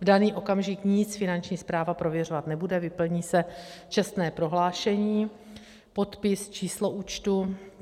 V daný okamžik nic Finanční správa prověřovat nebude, vyplní se čestné prohlášení, podpis, číslo účtu.